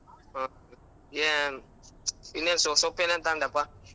ಹ್ಮ್ ಏನ್ ಇನ್ ಏನ್ ಸೊ~ ಸೊಪ್ಪೇನ್ ತಂದಪ್ಪಾ?